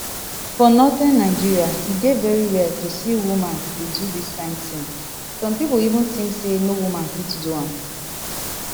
for northern nigeria e dey very rare to see woman dey do dis kain tin some pipo even think say no woman fit do am